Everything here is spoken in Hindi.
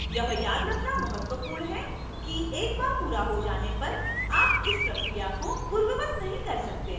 यह याद रखना महत्वपूर्ण है कि एक बार पूरा हो जाने पर आप इस प्रक्रिया को पूर्ववत नहीं कर सकते हैं